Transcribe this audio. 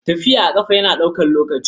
Tafiya a ƙafa yana ɗaukar lokaci.